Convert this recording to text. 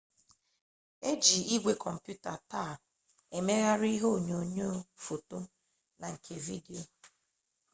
eji igwe komputa taa emeghari ihe onyonyo foto na nke vidio